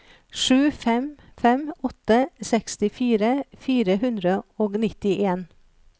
sju fem fem åtte sekstifire fire hundre og nittien